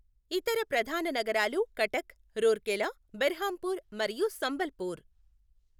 ఇతర ప్రధాన నగరాలు కటక్, రూర్కెలా, బెర్హంపూర్, మరియు సంబల్పూర్.